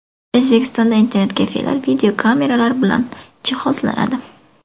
O‘zbekistonda internet-kafelar videokameralar bilan jihozlanadi.